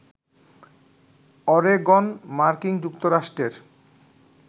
Oregon মার্কিন যুক্তরাষ্ট্রের